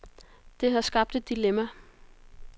Det har skabt et dilemma.